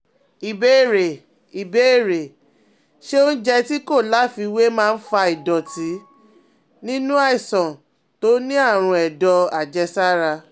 Ìbéèrè: Ìbéèrè: Ṣé oúnjẹ tí kò láfiwé ma ń fa ìdọ̀tí nínú aláìsàn tó ní àrùn ẹ̀dọ̀ àjẹsára?